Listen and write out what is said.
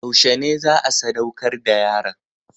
Yaushe ne za a sadaukar da yaron?